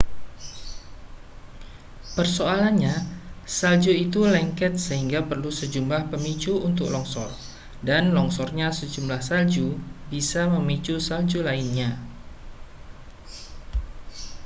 persoalannya salju itu lengket sehingga perlu sejumlah pemicu untuk longsor dan longsornya sejumlah salju bisa memicu salju lainnya